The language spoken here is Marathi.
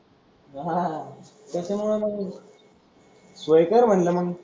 हा तस म्हण सोय कर म्हणलं मग?